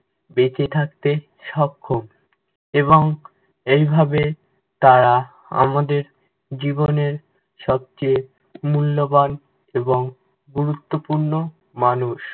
বেঁচে থাকতে সক্ষম এবং এই ভাবে তারা আমাদের জীবনের সবচেয়ে মূল্যবান এবং গুরুত্বপূর্ণ মানুষ।